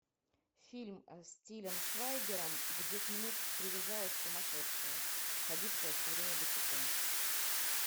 фильм с тилем швайгером где к нему привязалась сумасшедшая ходившая все время босиком